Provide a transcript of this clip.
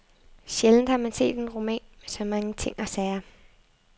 Sjældent har man set en roman med så mange ting og sager.